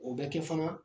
O bɛ kɛ fana